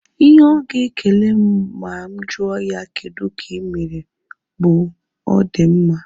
Ihe ọ ga ekele m ma mụ jụọ ya kedụ ka ịmere bụ; ọ di mma